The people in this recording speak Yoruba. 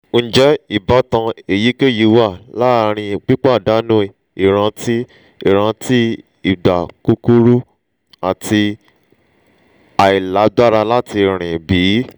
njẹ ibatan eyikeyi wa laarin pipadanu iranti iranti igba kukuru ati ailagbara lati rin bi?